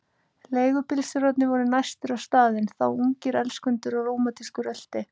Leigubílstjórarnir voru næstir á staðinn, þá ungir elskendur á rómantísku rölti.